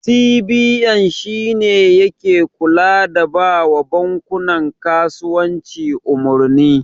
CBN shine yake kula da bawa bankunan kasuwanci umarni.